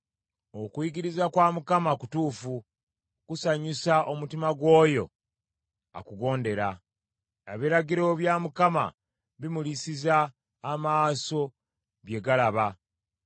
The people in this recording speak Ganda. Okuyigiriza kwa Mukama kutuufu, kusanyusa omutima gw’oyo akugondera. Ebiragiro bya Mukama bimulisiza amaaso, bye galaba.